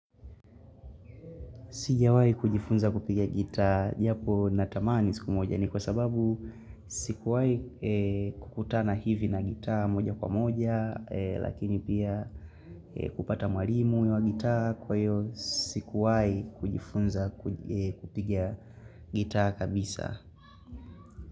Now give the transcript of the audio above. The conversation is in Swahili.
Sijawai kujifunza kupiga gitaa japo na tamani siku moja ni kwa sababu sikuwai kukutana hivi na gitaa moja kwa moja lakini pia kupata mwarimu wa gitaa kwa hiyo sikuwai kujifunza kupiga gitaa kabisa.